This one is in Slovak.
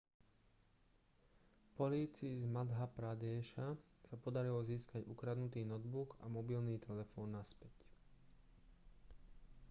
polícii z madhjapradéša sa podarilo získať ukradnutý notebook a mobilný telefón naspäť